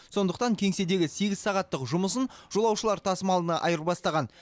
сондықтан кеңседегі сегіз сағаттық жұмысын жолаушылар тасымалына айырбастаған